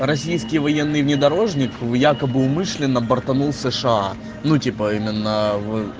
российский военный внедорожник в якобы умышленно бортанул сша ну типа именно в